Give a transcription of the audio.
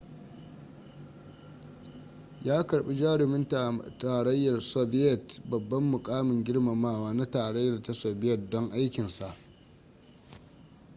ya karbi jarumin tarayyar soviyet babban mukamin girmamawa na tarayyar ta soviyet don aikinsa